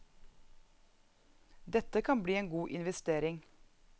Dette kan bli en god investering.